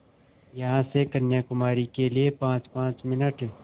यहाँ से कन्याकुमारी के लिए पाँचपाँच मिनट